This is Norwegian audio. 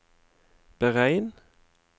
beregn